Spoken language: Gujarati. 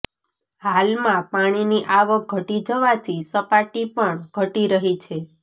હાલમાં પાણીની આવક ઘટી જવાથી સપાટી પણ ઘટી રહી છે